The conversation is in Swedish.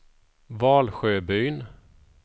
Valsjöbyn